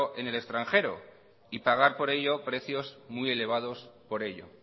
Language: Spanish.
en el extranjero y pagar por ello precios muy elevados por ello